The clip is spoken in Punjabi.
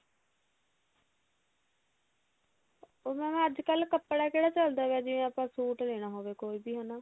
ਉਹ ਹੁਣ ਅੱਜਕਲ ਕੱਪੜਾ ਕਿਹੜਾ ਚੱਲਦਾਗਾ ਜਿਵੇਂ ਆਪਾਂ ਸੂਟ ਲੈਣਾ ਹੋਵੇ ਕੋਈ ਵੀ ਹਨਾ